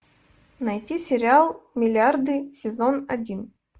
найти сериал миллиарды сезон один